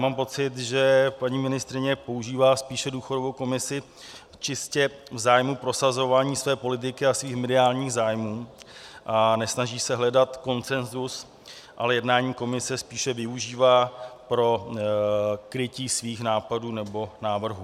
Mám pocit, že paní ministryně používá spíše důchodovou komisi čistě v zájmu prosazování své politiky a svých mediálních zájmů a nesnaží se hledat konsenzus, ale jednání komise spíše využívá pro krytí svých nápadů nebo návrhů.